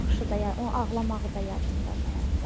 Baxışı da, yəni ağlamağı da yadımdadır hətta.